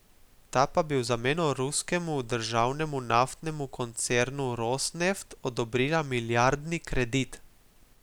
Ta pa bi v zameno ruskemu državnemu naftnemu koncernu Rosneft odobrila milijardni kredit.